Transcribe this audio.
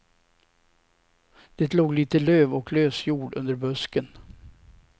Det låg lite löv och lös jord under busken.